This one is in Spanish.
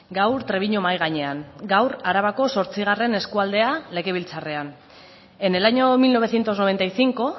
gaur trebiñu mahai gainean gaur arabako zortzigarren eskualdea legebiltzarrean en el año mil novecientos noventa y cinco